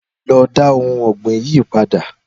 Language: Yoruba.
Lọ dá ohun ọ̀gbìn yii padà.